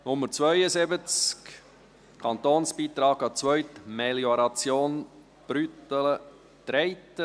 Nummer 72, Kantonsbeitrag an die Zweitmelioration Brüttelen-Treiten.